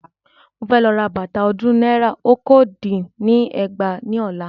Mo fẹ́ lọ ra bàtà ọdún náírà okòó dín ní ẹgbàá ní ọ̀la.